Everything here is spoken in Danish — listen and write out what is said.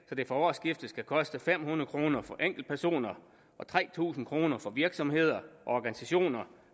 så det fra årsskiftet skal koste fem hundrede kroner for enkeltpersoner og tre tusind kroner for virksomheder og organisationer